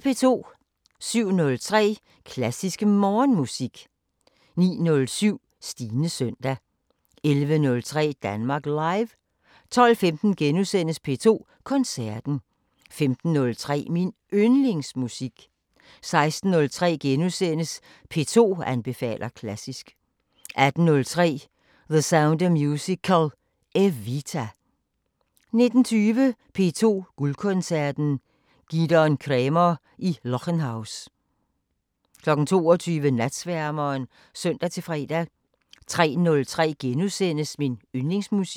07:03: Klassisk Morgenmusik 09:07: Stines søndag 11:03: Danmark Live 12:15: P2 Koncerten * 15:03: Min Yndlingsmusik 16:03: P2 anbefaler klassisk * 18:03: The Sound of Musical: EVITA 19:20: P2 Guldkoncerten: Gidon Kremer i Lockenhaus 22:00: Natsværmeren (søn-fre) 03:03: Min Yndlingsmusik *